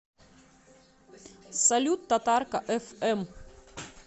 салют татарка эф эм